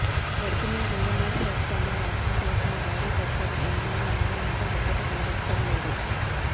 గడచిన రెండున్నర సంవత్సరాల్లో రాష్ట్రంకు వచ్చిన భారీ పరిశ్రమ ఏమన్నా ఉందా అంటే ఒక్కటీ కనబడటం లేదు